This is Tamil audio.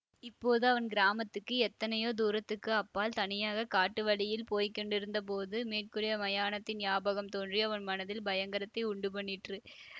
இப்போது அவன் கிராமத்துக்கு எத்தனையோ தூரத்துக்கு அப்பால் தனியாக காட்டு வழியில் போய் கொண்டிருந்தபோது மேற்கூறிய மயானத்தின் ஞாபகம் தோன்றி அவன் மனத்தில் பயங்கரத்தை உண்டுபண்ணிற்று